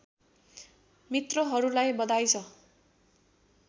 मित्रहरूलाई बधाई छ